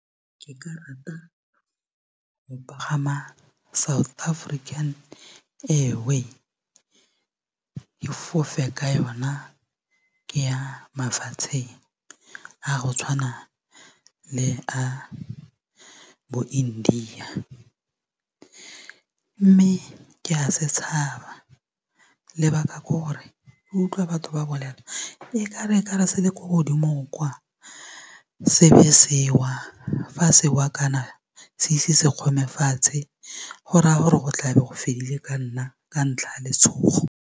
Ke ka rata go pagama South African Airways ke fofe ka yona ke ya mafatsheng a go tshwana le a bo India mme ke a se tshaba lebaka ke gore ke utlwa batho ba bolela e ka re se le ko godimo kwa se be sewa fa sewa kana se ise se kgome fatshe go raya gore go tlabe go fedile ka nna ka ntlha ya letshogo.